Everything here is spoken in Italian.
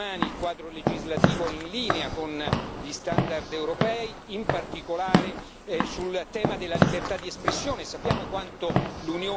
Sul tema dei diritti umani, il quadro legislativo è in linea con gli standard europei, in particolare sul tema della libertà di espressione.